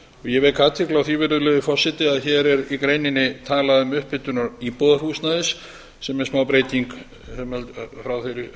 ég vek athygli á því virðulegi forseti að hér er í greininni talað um upphitun íbúðarhúsnæðis sem er smábreyting frá